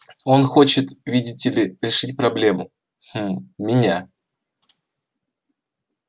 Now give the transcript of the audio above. он хочет видите ли решить проблему хм меня